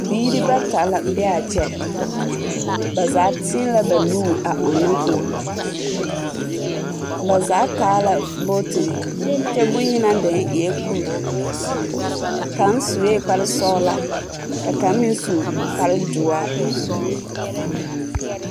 Biiri bata la be a kyɛ. Ba zaa teɛ la bannuuri a ɔnnɔ kõɔ. Ba zaa taa la bootiri kyɛ boŋyenaa deni eɛ kuri kaŋ sue kpare sɔgelaa, ka kaŋ meŋsu kpare doɔre.